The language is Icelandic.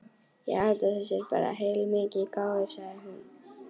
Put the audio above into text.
Ég held þú sért bara heilmikið gáfuð, sagði hún.